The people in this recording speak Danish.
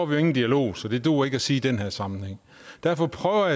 vi jo ingen dialog så det duer ikke at sige i den her sammenhæng derfor prøver